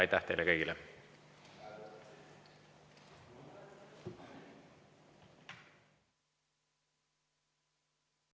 Aitäh teile kõigile!